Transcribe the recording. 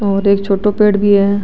और एक छोटो पेड़ भी है।